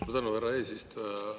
Suur tänu, härra eesistuja!